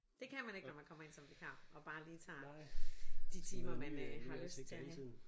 Det kan man ikke når man kommer ind som vikar og bare lige tager de timer man øh har lyst til at have